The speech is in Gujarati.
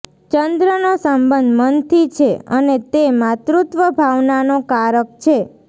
ચંદ્રનો સંબંધ મનથી છે અને તે માતૃત્વભાવનાનો કારક છે